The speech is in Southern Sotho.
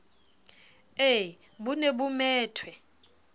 ee bo ne bo methwe